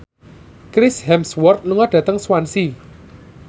Chris Hemsworth lunga dhateng Swansea